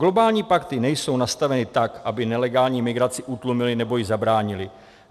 Globální pakty nejsou nastaveny tak, aby nelegální migraci utlumily nebo jí zabránily.